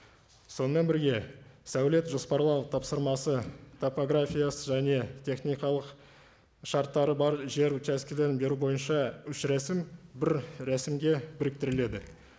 сонымен бірге сәулет жоспарлау тапсырмасы топографиясы және техникалық шарттары бар жер учаскілерін беру бойынша үш рәсім бір рәсімге біріктіріледі